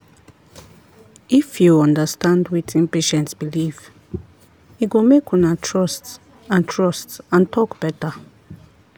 if you understand wetin patient believe e go make una trust and trust and talk better.